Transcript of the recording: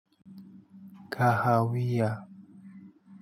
Kahawia.